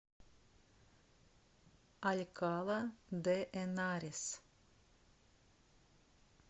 алькала де энарес